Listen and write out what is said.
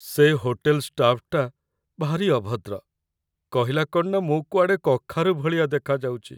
ସେ ହୋଟେଲ୍‌ ଷ୍ଟାଫ୍‌ଟା ଭାରି ଅଭଦ୍ର । କହିଲା କ'ଣ ନା ମୁଁ କୁଆଡ଼େ କଖାରୁ ଭଳିଆ ଦେଖାଯାଉଚି ।